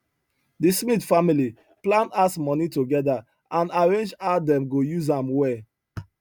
the smith family plan house money together and arrange how dem go use am well